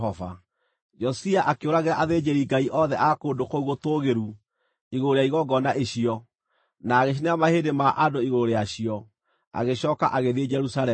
Josia akĩũragĩra athĩnjĩri-ngai othe a kũndũ kũu gũtũũgĩru igũrũ rĩa igongona icio, na agĩcinĩra mahĩndĩ ma andũ igũrũ rĩacio. Agĩcooka agĩthiĩ Jerusalemu.